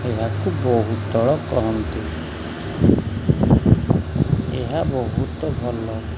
ଏହାକୁ ବହୁତଳ କହନ୍ତି ଏହା ବହୁତ ଭଲ।